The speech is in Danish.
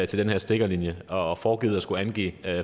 til den her stikkerlinje og foregivet at skulle angive